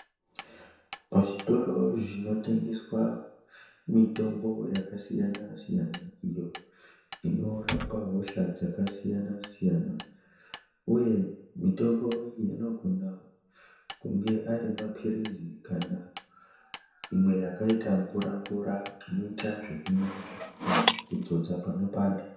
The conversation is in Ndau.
Pazvitoro zvinotengese mitombo yakasiyana-siyana iyo inorapa hosha dzakasiyana siyana uye mitombo iyi inogona kunge arimaphirizi kana imwe yakaita mvura-mvura inoita zvekumwiwa kana kudzodza panopanda.